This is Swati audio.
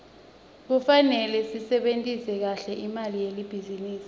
kufarele sisebentise kahle imali yelibhizinisi